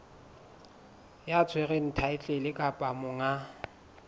ya tshwereng thaetlele kapa monga